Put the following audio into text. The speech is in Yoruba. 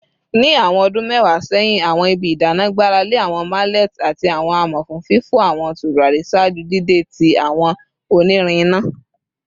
Ni awọn ọdun mẹwa sẹhin, awọn ibi idana gbarale awọn mallets ati awọn amọ fun fifọ awọn turari ṣaaju dide ti awọn onirin ina